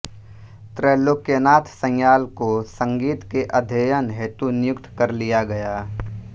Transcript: त्रैलोक्यनाथ संयाल को संगीत के अध्ययन हेतु नियुक्त कर लिया गया